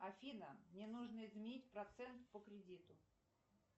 афина мне нужно изменить процент по кредиту